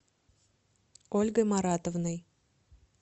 ольгой маратовной